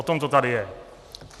O tom to tady je.